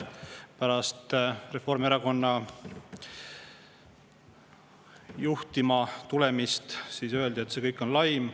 Pärast Reformierakonna juhtima tulemist öeldi, et see kõik on laim.